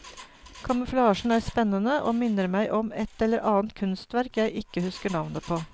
Kamuflasjen er spennende og minner meg om et eller annet kunstverk jeg ikke husker navnet på.